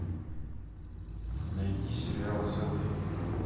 найти сериал селфи